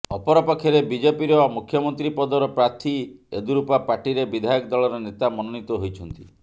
ଅପର ପକ୍ଷରେ ବିଜେପିର ମୁଖ୍ୟମନ୍ତ୍ରୀପଦର ପ୍ରାର୍ଥୀ ଯେଦୁରପ୍ପା ପାର୍ଟିରେ ବିଧାୟକ ଦଳର ନେତା ମନୋନୀତ ହୋଇଛନ୍ତି